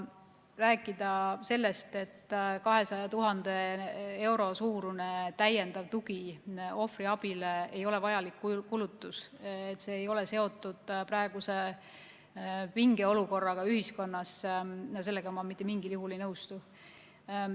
Rääkida sellest, et 200 000 euro suurune täiendav tugi ohvriabile ei ole vajalik kulutus, et see ei ole seotud praeguse pingeolukorraga ühiskonnas – sellega ma mitte mingil juhul ei nõustu.